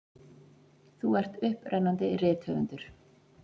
Þú ert upprennandi rithöfundur.